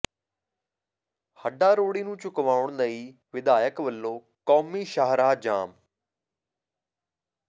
ਹੱਡਾ ਰੋੜੀ ਨੂੰ ਚੁਕਵਾਉਣ ਲਈ ਵਿਧਾਇਕ ਵੱਲੋਂ ਕੌਮੀ ਸ਼ਾਹਰਾਹ ਜਾਮ